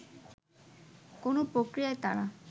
কোন প্রক্রিয়ায় তারা